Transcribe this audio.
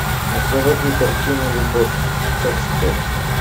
заводи картину любовь как спорт